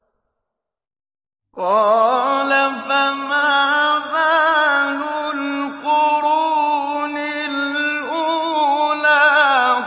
قَالَ فَمَا بَالُ الْقُرُونِ الْأُولَىٰ